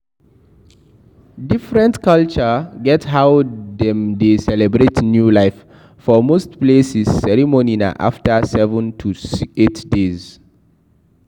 Different culture get how dem dey celebrate new life, for most places, ceremony na after 7 to 8 days